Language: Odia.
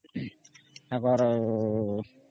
ଅମ୍ଅ ମ୍ହେ ବାର